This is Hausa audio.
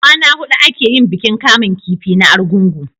kwana hudu a ke yin bikin kamun kifi na argungu